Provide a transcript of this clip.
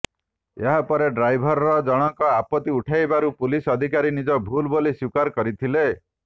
ଏହାପରେ ଡ୍ରାଇଭର ଜଣଙ୍କ ଆପତ୍ତି ଉଠାଇବାରୁ ପୁଲିସ ଅଧିକାରୀ ନିଜ ଭୁଲ୍ ବୋଲି ସ୍ୱୀକାର କରିଥିଲେ